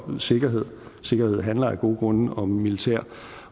om sikkerhed sikkerhed handler af gode grunde om militær